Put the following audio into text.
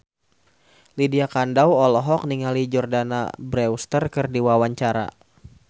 Lydia Kandou olohok ningali Jordana Brewster keur diwawancara